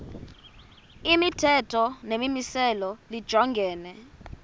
imithetho nemimiselo lijongene